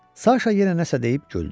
Saşa yenə nəsə deyib güldü.